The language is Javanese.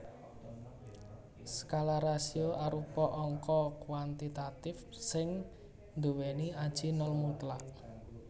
Skala rasio arupa angka kuantitatif sing nduwèni aji nol mutlak